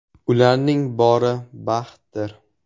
Ularning bori baxtdir.